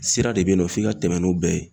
Sira de bɛ yen nɔ f'i ka tɛmɛ n'o bɛɛ ye